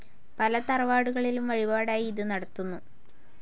പല തറവാടുകളിലും വഴിപാടായി ഇത് നടത്തുന്നു.